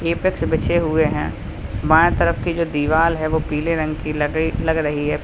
Apex बिछे हुए हैं बाएं तरफ की जो दीवाल है वो पीले रंग की लगे लग रही है।